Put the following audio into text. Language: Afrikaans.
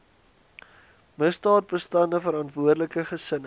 misdaadbestande verantwoordelike gesinne